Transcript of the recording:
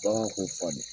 Bagan ko fa de